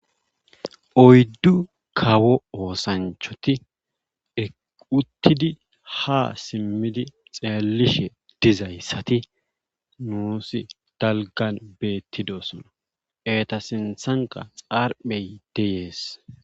Oyddu kawo oosanchati e utttisi simmidi xeellishe dizayssati nuusi dalggan beettidona eeta sinthankka xarphey dees.